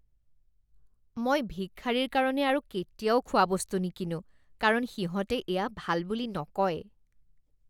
মই ভিক্ষাৰীৰ কাৰণে আৰু কেতিয়াও খোৱাবস্তু নিকিনো কাৰণ সিহঁতে এয়া ভাল বুলি নকয়